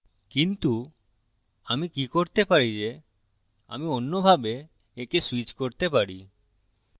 কিন্তু আমি কি করতে পারি যে আমি অন্যভাবে একে switch করতে পারি